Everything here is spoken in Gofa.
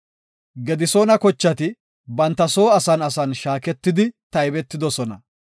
Gedisoona kochati banta soo asan asan shaaketidi taybetidosona.